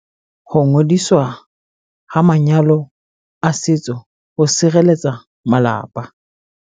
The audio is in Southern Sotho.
Ho ngodiswa ha manyalo a setso ho sirelletsa malapa